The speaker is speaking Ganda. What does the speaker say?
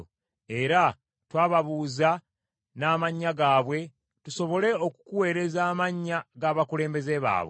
Era twababuuza n’amannya gaabwe, tusobole okukuweereza amannya g’abakulembeze baabwe.